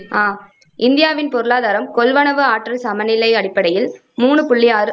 அஹ் இந்தியாவின் பொருளாதாரம் கொள்வனவு ஆற்றல் சமநிலை அடிப்படையில் மூணு புள்ளி முண்ணூத்தி அறு